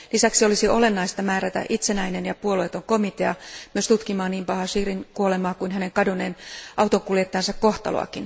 Lisäksi olisi olennaista määrätä itsenäinen ja puolueeton komitea tutkimaan niin Chebeya Bahiziren kuolemaa kuin hänen kadonneen autonkuljettajansa kohtaloa.